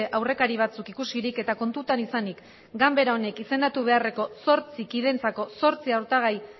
aurrekari batzuk ikusirik eta kontuan izanik ganbara honek izendatu beharreko zortzi kidentzako zortzi hautagai